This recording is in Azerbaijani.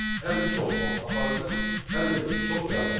Həm çox vaxt aparacaq, həm də ki, çox yaddaş.